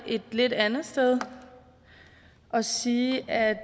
et lidt andet sted og sige at